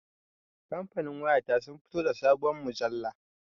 Kamfanin waya ta sun fito da sabuwar mujalla